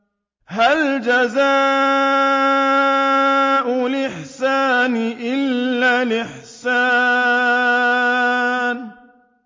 هَلْ جَزَاءُ الْإِحْسَانِ إِلَّا الْإِحْسَانُ